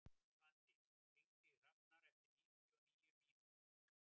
Svandís, hringdu í Hrafnar eftir níutíu og níu mínútur.